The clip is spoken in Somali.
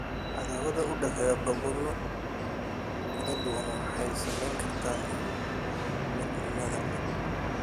Cadaawadda u dhexeysa gobollo kala duwan waxay saameyn kartaa midnimada.